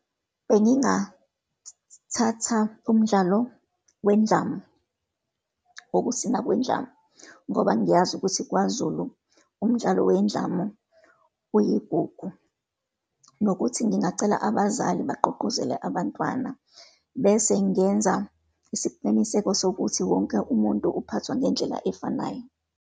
Bengingathatha umdlalo wendlamu, wokusina kwendlamu, ngoba ngiyazi ukuthi kwaZulu, umdlalo wendlamu uyigugu. Nokuthi ngingacela abazali bagqugquzele abantwana, bese ngenza isiqiniseko sokuthi wonke umuntu uphathwa ngendlela efanayo.